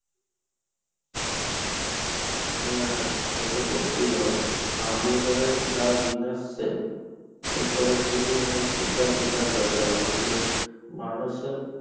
হম সে তো করতেই হবে. নাহলে পরে যা দিন আসছে. এরপরে খুবই মানে চিন্তার বিষয় হয়ে দাড়াবে যে মানুষের